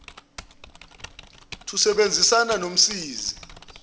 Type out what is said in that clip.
thi usebenzisane nomsizi